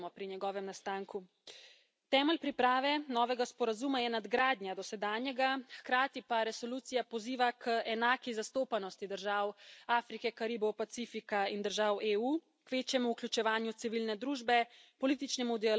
Temelj priprave novega sporazuma je nadgradnja dosedanjega, hkrati pa resolucija poziva k enaki zastopanosti držav Afrike, Karibov, Pacifika in držav EU, k večjemu vključevanju civilne družbe, političnemu dialogu in k trajnostnemu razvoju.